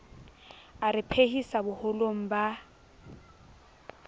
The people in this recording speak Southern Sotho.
a re phephisa boholong ba